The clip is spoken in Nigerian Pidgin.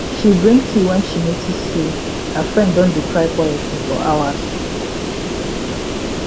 she bring tea when she notice say her friend don dey cry quietly for hours